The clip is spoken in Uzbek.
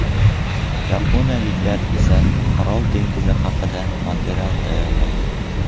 Yaponiyaliklar Orol dengizi haqida material tayyorlaydi.